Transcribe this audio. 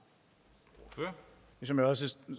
og